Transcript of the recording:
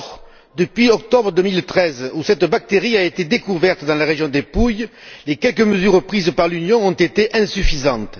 Or, depuis octobre 2013, où cette bactérie a été découverte dans la région des Pouilles, les quelques mesures prisent par l'Union se sont avérées insuffisantes.